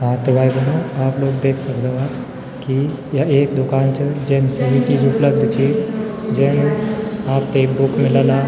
हाँ त भाई-भेणाे आप लोग देख सकदा वा की या एक दुकान च जेम सभी चीज उपलब्ध च जेम आपथे एक बुक मिलला।